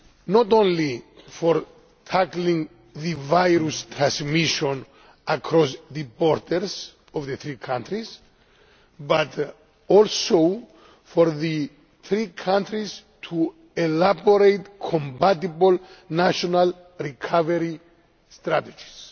not only for tackling the virus transmission across the borders of the three countries, but also for the three countries to elaborate compatible national recovery strategies.